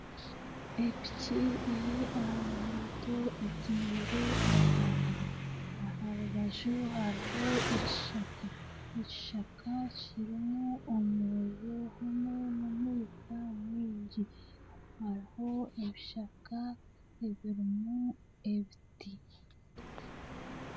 Epiki eri aha nguuto etaire etaara, aha rubaju hariho ekishaka, ekishaka kirimu omuriro hamwe n'omwika mwingi hariho ebishaka ebirimu ebiti